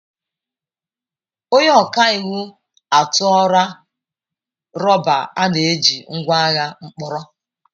Onye ọka iwu atụọla rọba a na-eji ngwa agha mkpọrọ.